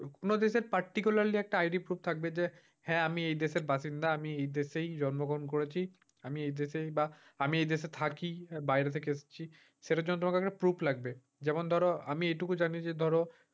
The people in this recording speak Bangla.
কোন দেশের particularly একটা ID proof যে হ্যাঁ আমি এই দেশের বাসিন্দা আমি এই দেশে জন্মগ্রহণ করেছি। আমি এই দেশেই বা আমি এই দেশে থাকি বাইরে থেকে এসেছি সেটার জন্য তোমার একটা proof লাগবে। যেমন ধরো আমি এইটুকু জানি যে ধরো,